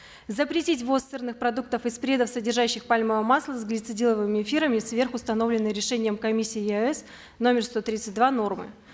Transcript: запретить ввоз сырных продуктов и спредов содержащих пальмовое масло с глицидиловыми эфирами сверх установленной решением комиссии еаэс номер сто тридцать два нормы